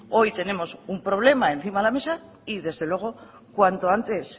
hoy tenemos un problema encima de la mesa y desde luego cuanto antes